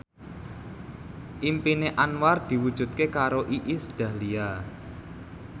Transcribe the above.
impine Anwar diwujudke karo Iis Dahlia